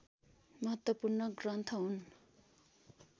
महत्त्वपूर्ण ग्रन्थ हुन्